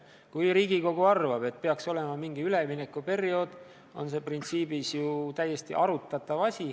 Kui Riigikogu arvab, et peaks olema mingi üleminekuperiood, siis printsiibis on see ju täiesti arutatav lahendus.